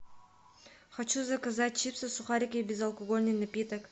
хочу заказать чипсы сухарики безалкольный напиток